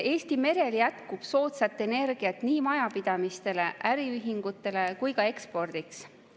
Eesti merel jätkub soodsat energiat nii majapidamistele, äriühingutele kui ka ekspordiks.